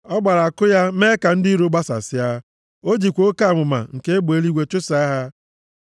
Ọ gbara àkụ ya, mee ka ndị iro gbasasịa, o jikwa oke amụma nke egbe eluigwe chụsaa ha.